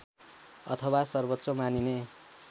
अथवा सर्वोच्च मानिने